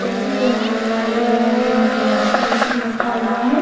जैसे कि यहाँ पे दिखाई दे रहा है कि यहाँ पे वाशिंग मशीन रखा हुआ है।